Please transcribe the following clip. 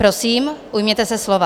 Prosím, ujměte se slova.